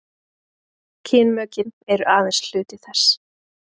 kynmökin eru aðeins hluti þess